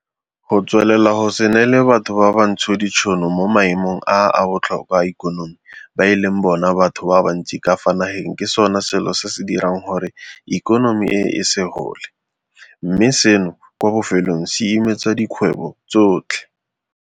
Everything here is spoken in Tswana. Go tswelela go se neele batho ba bantsho ditšhono mo maemong a a botlhokwa a ikonomi ba e leng bona batho ba bantsi ka fa nageng ke sona selo se se dirang gore ikonomi e se gole, mme seno kwa bofelong se imetsa dikgwebo tsotlhe.